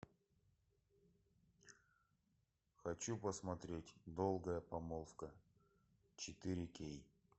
хочу посмотреть долгая помолвка четыре кей